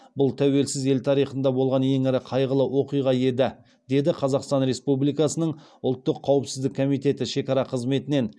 бұл тәуелсіз ел тарихында болған ең ірі қайғылы оқиға еді деді қазақстан республикасының ұлттық қауіпсіздік комитеті шекара қызметінен